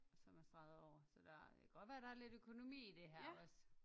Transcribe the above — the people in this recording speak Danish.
Som er streget over så der det kan godt være der er lidt økonomi i det her også